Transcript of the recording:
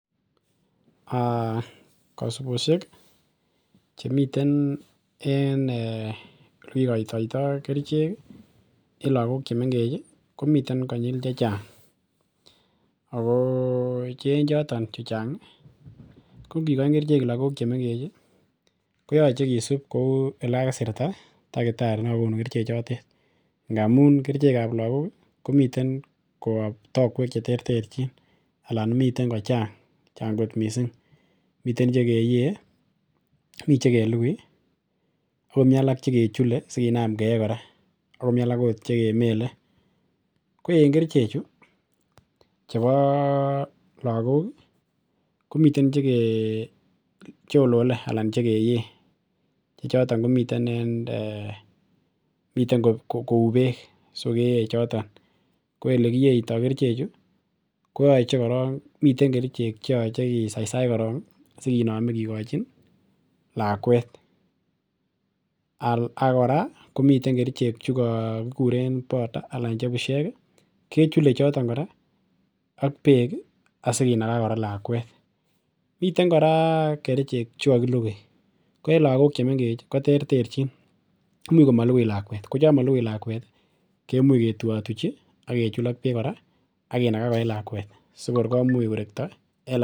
um Kasibosiek chemiten en um elekikoitoitoo kerichek ih en lagok chemengech ih komiten konyil chechang ako che en choton chu chang ih ko ngikoin kerichek lagok chemengech ih koyoche kisib kou elekakisirta takitari nekokunu kerichek chotet ngamun kerichek ab lagok ih komiten koyob tokwek cheterterchin alan mi kochang chang kot missing miten chekeyee mii chekelugui ako mii alak chekechule sikinam keyee kora akomii alak ot chekemele. Ko en kerichek chu chebo lagok ih komiten chekecholole anan chekeyee chechoton komiten en um miten kou beek so keyee choton ko elekiyeitoo kerichek chu koyoche korong miten kerichek cheyoche kisaisach korong sikinome kikochin lakwet ak kora komiten kerichek chukokikuren powder anan che bushek ih kechule choton kora ak beek ih asikinaga kora lakwet. Miten kora kerichek chukokilugui ko en lagok chemengech ih koterterchin imuch komolugui lakwet, ko chon molugui lakwet ih kemuch ketuiotuchi ak kechul ak beek kora akinaga koee lakwet sokor komuch korekto en lak...